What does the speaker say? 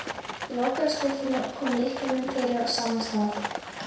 Ég lokaði skúffunni og kom lyklinum fyrir á sama stað.